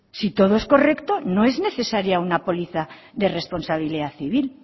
si todo es correcto no es necesaria una póliza de responsabilidad civil